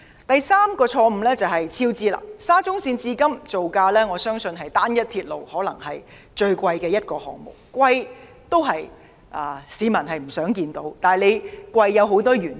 我相信沙中線項目可能是至今造價最昂貴的單一鐵路項目，雖然造價昂貴不是市民所願見，但造價昂貴有多種原因。